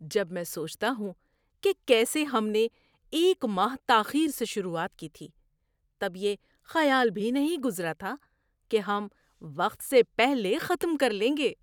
جب میں سوچتا ہوں کہ کیسے ہم نے ایک ماہ تاخیر سے شروعات کی تھی، تب یہ خیال بھی نہیں گزرا تھا کہ ہم وقت سے پہلے ختم کر لیں گے۔